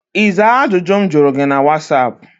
Ị zaa ajụjụ m jụrụ gị na whatsaap?